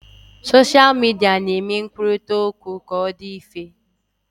Soshal midia na-eme nkwurita okwu ka ọ dị mfe